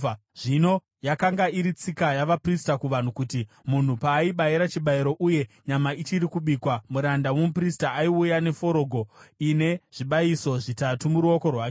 Zvino yakanga iri tsika yavaprista kuvanhu kuti munhu paaibayira chibayiro uye nyama ichiri kubikwa, muranda womuprista aiuya neforogo ine zvibayiso zvitatu muruoko rwake.